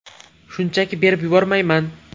Shunchaki berib yubormayman.